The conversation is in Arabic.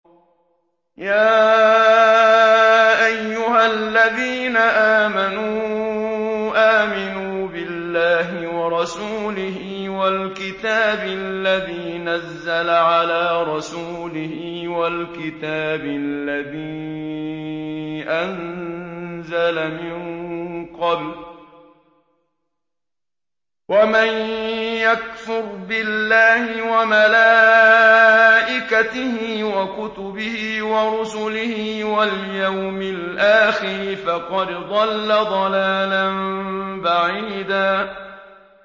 يَا أَيُّهَا الَّذِينَ آمَنُوا آمِنُوا بِاللَّهِ وَرَسُولِهِ وَالْكِتَابِ الَّذِي نَزَّلَ عَلَىٰ رَسُولِهِ وَالْكِتَابِ الَّذِي أَنزَلَ مِن قَبْلُ ۚ وَمَن يَكْفُرْ بِاللَّهِ وَمَلَائِكَتِهِ وَكُتُبِهِ وَرُسُلِهِ وَالْيَوْمِ الْآخِرِ فَقَدْ ضَلَّ ضَلَالًا بَعِيدًا